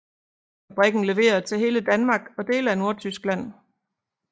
Fabrikken leverer til hele Danmark og dele af Nordtyskland